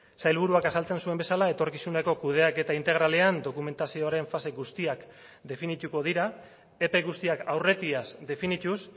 sailburuak azaltzen zuen bezala etorkizuneko kudeaketa integralean dokumentazioaren fase guztiak definituko dira epe guztiak aurretiaz definituz